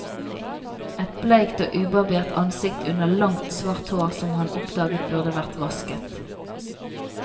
Et bleikt og ubarbert ansikt under langt, svart hår som han oppdaget burde vært vasket.